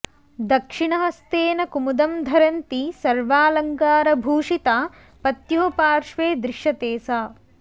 दक्षिणहस्तेन कुमुदं धरन्ती सर्वालङ्कारभूषिता पत्युः पार्श्वे दृश्यते सा